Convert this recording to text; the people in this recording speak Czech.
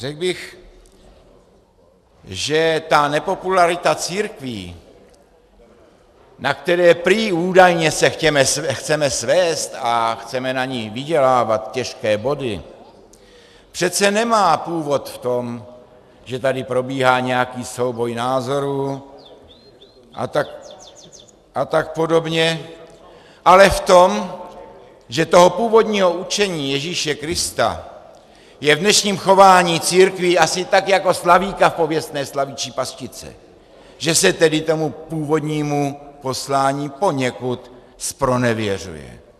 Řekl bych, že ta nepopularita církví, na které prý údajně se chceme svézt a chceme na ní vydělávat těžké body, přece nemá původ v tom, že tady probíhá nějaký souboj názorů a tak podobně, ale v tom, že toho původního učení Ježíše Krista je v dnešním chování církví asi tak jako slavíka v pověstné slavičí pastičce, že se tedy tomu původnímu poslání poněkud zpronevěřuje.